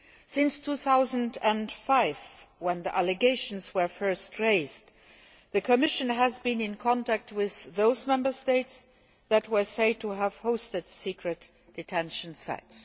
Since 2005, when the allegations were first raised, the Commission has been in contact with those Member States that were said to have hosted secret detention sites.